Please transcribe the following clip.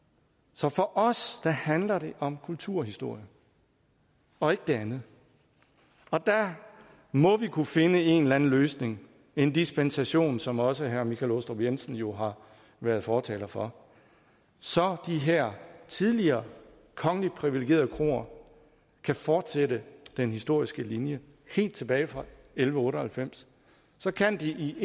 så for os handler det om kulturhistorie og ikke det andet der må vi kunne finde en eller anden løsning en dispensation som også herre michael aastrup jensen jo har været fortaler for så de her tidligere kongeligt privilegerede kroer kan fortsætte den historiske linje helt tilbage fra elleve otte og halvfems så kan de i